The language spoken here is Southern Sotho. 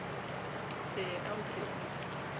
ee a o ke o